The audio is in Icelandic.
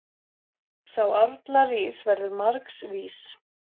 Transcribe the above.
Sá árla rís verður margs vís.